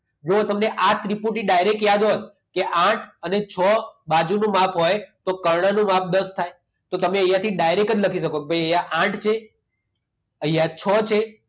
જુઓ તમને આ ત્રિપુટી ડાયરેક્ટ યાદ હોય કે આઠ અને છ બાજુનું માપ હોય તો કર્ણનું માપ દસ થાય. તો તમે અહીંયાથી ડાયરેક્ટ જ લખી શકો. ભાઈ અહીંયા આઠ છે, અહીંયા છ છે.